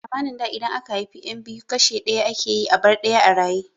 A zamanin da idan aka haifi yan biyu kashe ɗaya ake yi a bar ɗaya a raye